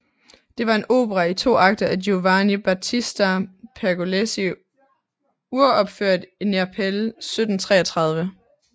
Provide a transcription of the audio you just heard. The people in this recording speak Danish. Det var en opera i to akter af Giovanni Battista Pergolesi uropført i Neapel 1733